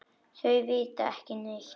Þau vita ekki neitt.